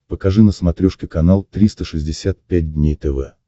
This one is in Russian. покажи на смотрешке канал триста шестьдесят пять дней тв